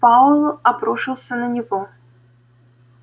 пауэлл обрушился на него